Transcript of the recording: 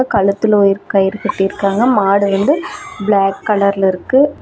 கழுத்துல ஒரு கயிறு கட்டிருக்காங்க மாடு வந்து பிளாக் கலர்ல இருக்கு.